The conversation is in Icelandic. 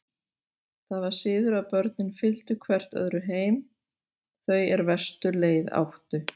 Það var siður að börnin fylgdu hvert öðru heim, þau er verstu leið áttu.